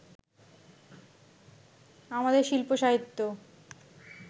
আমাদের শিল্প সাহিত্য